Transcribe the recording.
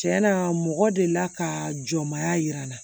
Tiɲɛna mɔgɔ delila ka jɔnmaya yira n na